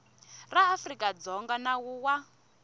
ra afrika dzonga nawu wa